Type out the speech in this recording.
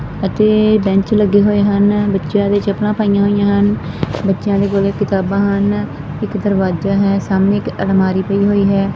ਅਤੇ ਬੈਂਚ ਲੱਗੇ ਹੋਏ ਹਨ ਬੱਚਿਆਂ ਨੇ ਚੱਪਲਾਂ ਪਾਈਆਂ ਹੋਈਆਂ ਹਨ ਬੱਚਿਆਂ ਦੇ ਕੋਲ ਕਿਤਾਬਾਂ ਹਨ ਇੱਕ ਦਰਵਾਜਾ ਹੈ ਸਾਹਮਣੇ ਇੱਕ ਅਲਮਾਰੀ ਪਈ ਹੋਈ ਹੈ।